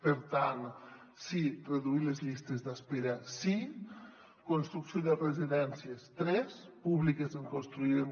per tant sí reduir les llistes d’espe·ra sí construcció de residències tres públiques en construirem